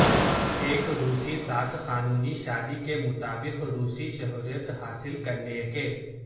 ایک روسی ساتھ قانونی شادی کے مطابق روسی شہریت حاصل کرنے کے